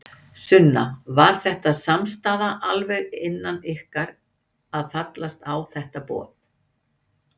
Sunna: Var þetta samstaða alveg innan ykkar að fallast á þetta boð?